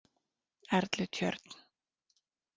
Erlutjörn